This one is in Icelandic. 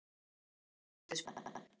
Hvaða liði myndirðu aldrei spila með?